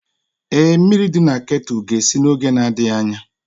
Ee, mmiri dị na kettle ga-esi n'oge na-adịghị anya